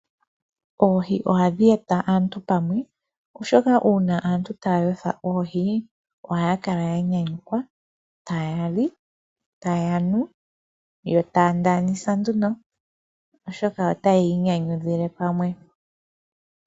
Oohi ohadhi e ta aantu pamwe oshoka uuna antu yeli pamwe aantu taya otha oohi ohaya kala ya nyanyukwa taya li, taya nu, yo taaya ndaanisa oshoka otaya inyanyudhile pamwe.